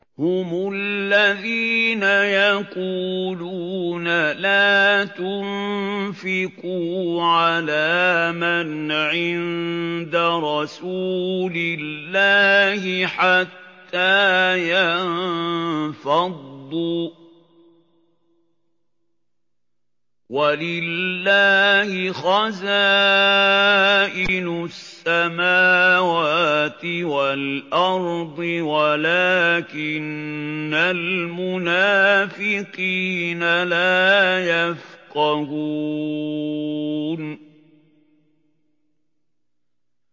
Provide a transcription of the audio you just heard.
هُمُ الَّذِينَ يَقُولُونَ لَا تُنفِقُوا عَلَىٰ مَنْ عِندَ رَسُولِ اللَّهِ حَتَّىٰ يَنفَضُّوا ۗ وَلِلَّهِ خَزَائِنُ السَّمَاوَاتِ وَالْأَرْضِ وَلَٰكِنَّ الْمُنَافِقِينَ لَا يَفْقَهُونَ